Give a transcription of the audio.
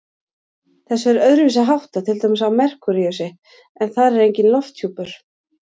Þessu er öðruvísi háttað til dæmis á Merkúríusi, en þar er enginn lofthjúpur.